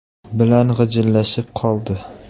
bilan g‘ijillashib qoldi.